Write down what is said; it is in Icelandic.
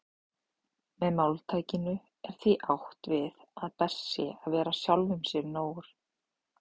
Með máltækinu er því átt við að best sé að vera sjálfum sér nógur.